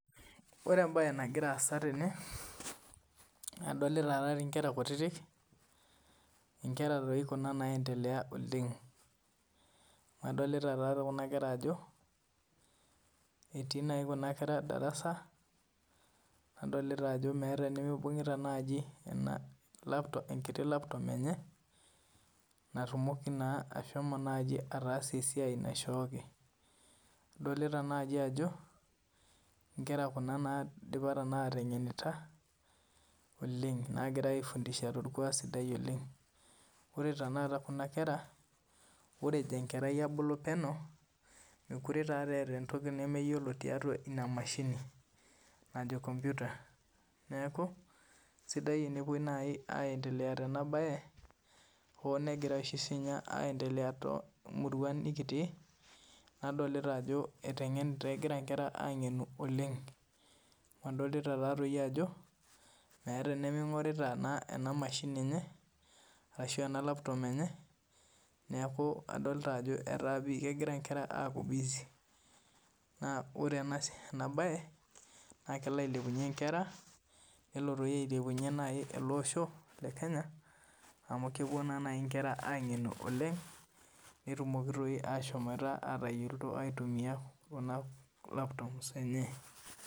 Ore embae naagira asaa tene kadolita Nkera kutiti Nkera doi Kuna naedndelea oleng amu adolita kuna kera Ajo etii najii Kuna kera darasa nadolita Ajo meeta enimibungita enkiti laptop enye natumoki ashomo taasie esiai naishooki adolita naaji Ajo Nkera naidipa Kuna atengenita oleng naagirai aifundisha torkuak sidai oleng ore tanakata Kuna kera ore ejo enkerai abulu penyo mekure etaa entoki nemeyiolo tiatua ena mashini naajo kompita neeku sidai tenepuoi naaji aendelea Tena mbae hoo negirai sininye oshi aendelea too muruan nikitii nadolita Ajo egira enkera ang'enu oleng amu adolita Ajo meeta enimingorita ena mashini enye arashu ena laptop enyee neeku adolita Ajo etaa pii kegira Nkera aaku busy naa ore ena mba naa kelo ailepunye Nkera nelo doi ailepunyie ele Osho le Kenya amu kepuo naa naaji Nkera ang'enu oleng netumoki naaji ashomo atayiolo aitumia Kuna laptops enye